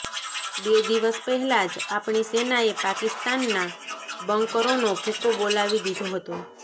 બે દિવસ પહેલા જ આપણી સેનાએ પાકિસ્તાનના બંકરોનો ભુકકો બોલાવી દીધો હતો